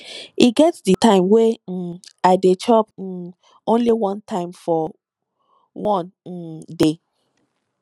e get di time wey um i dey chop um only one time for one um day